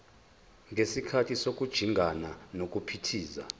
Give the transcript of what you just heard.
ngesikhathi sokujingana nokuphithiza